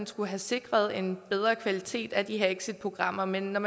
skal have sikret en bedre kvalitet i de her exitprogrammer men når